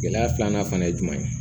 Gɛlɛya filanan fana ye jumɛn ye